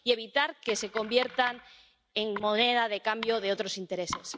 Hay que evitar que se conviertan en moneda de cambio de otros intereses.